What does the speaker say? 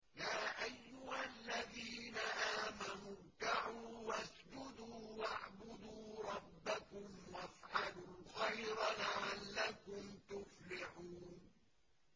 يَا أَيُّهَا الَّذِينَ آمَنُوا ارْكَعُوا وَاسْجُدُوا وَاعْبُدُوا رَبَّكُمْ وَافْعَلُوا الْخَيْرَ لَعَلَّكُمْ تُفْلِحُونَ ۩